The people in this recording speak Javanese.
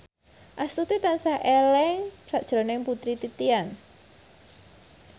Astuti tansah eling sakjroning Putri Titian